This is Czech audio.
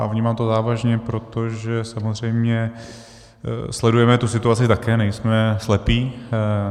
A vnímám to závažně, protože samozřejmě sledujeme tu situaci také, nejsme slepí.